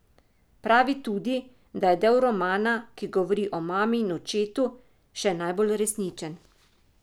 Pravi tudi, da je del romana, ki govori o mami in očetu, še najbolj resničen.